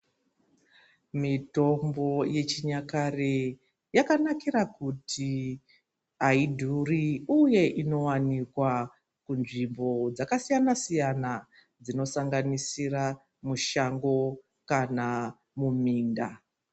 Mitombo yechinyakare yakanakire kuti aidhuri uye inowanikwa kunzvimbo dzakasiyana siyana dzinosanganisira mushango kana muminda